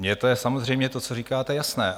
Mně to je samozřejmě, to, co říkáte, jasné.